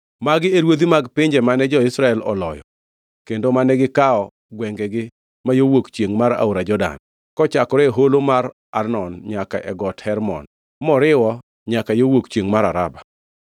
Magi e ruodhi mag pinje mane jo-Israel oloyo kendo mane gikawo gwengegi ma yo wuok chiengʼ mar aora Jordan, kochakore e holo mar Arnon nyaka e Got Hermon, moriwo nyaka yo wuok chiengʼ mar Araba.